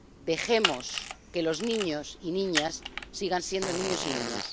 Dejemos que los niños y niñas sigan siendo niños y niñas.